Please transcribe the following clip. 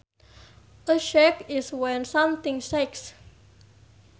A shake is when something shakes